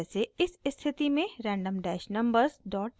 जैसे इस स्थिति में random dash numbers dot txt